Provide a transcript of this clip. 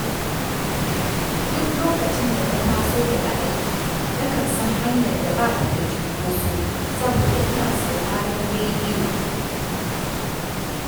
Duk lokacin da na taso daga aiki nakan san hanyar da ba ta da cunkoso saboda ina sauraron rediyo